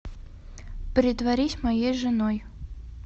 притворись моей женой